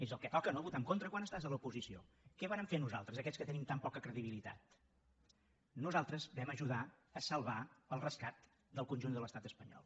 és el que toca no votar en contra quan estàs a l’oposició què vàrem fer nosaltres aquests que tenim tan poca credibilitat nosaltres vam ajudar a salvar el rescat del conjunt de l’estat espanyol